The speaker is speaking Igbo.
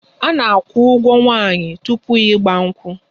A na-akwụ ụgwo nwaanyi tupu 'igba nkwu'